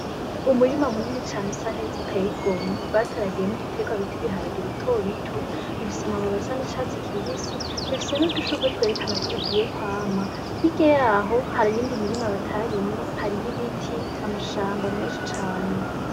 Umurima munini cane usa neza uteye igomwe, bataragiyemwo igiterwa bita ibiharage bito bito, bifise amababi asa n'icatsi kibisi, bifise n'udushurwe twerekana ko bigiye kwama. Hirya yaho, hari iyindi mirima bataryimye, hariyo ibiti, amashamba menshi cane.